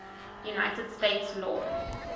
united states law